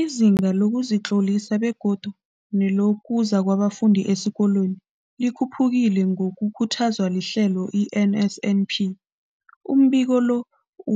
Izinga lokuzitlolisa begodu nelokuza kwabafundi esikolweni likhuphukile ngokukhuthazwa lihlelo le-NSNP. Umbiko lo